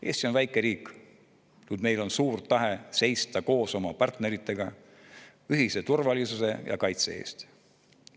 Eesti on väike riik, kuid meil on suur tahe seista koos oma partneritega ühise turvalisuse ja kaitse eest.